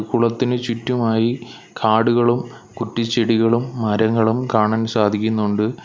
കുളത്തിന് ചുറ്റുമായി കാടുകളും കുറ്റിച്ചെടികളും മരങ്ങളും കാണാൻ സാധിക്കുന്നുണ്ട്.